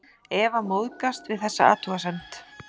Eva móðgast við þessa athugasemd.